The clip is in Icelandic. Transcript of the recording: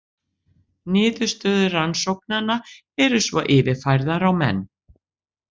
Niðurstöður rannsóknanna eru svo yfirfærðar á menn.